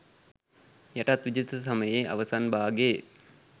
යටත්විජිත සමයේ අවසන් භාගයේ